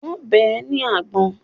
Wọ́n bẹ́ ẹ ní àgbọ̀n.